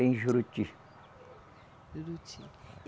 Em Juruti. Juruti. E